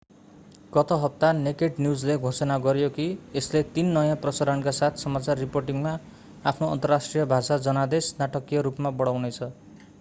गत हप्ता नेकेड न्यूजले घोषणा गर्‍यो कि यसले तीन नयाँ प्रसारणका साथ समाचार रिपोर्टिंगमा आफ्नो अन्तर्राष्ट्रिय भाषा जनादेश नाटकीय रूपमा बढाउनेछ।